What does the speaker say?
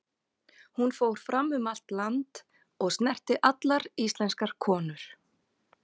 Hún fór fram um allt land, og snerti allar íslenskar konur.